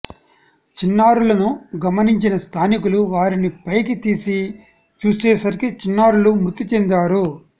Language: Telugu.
చిన్నారులను గమనించిన స్థానికులు వారిని పైకి తీసి చూసే సరికి చిన్నారులు మృతిచెందారు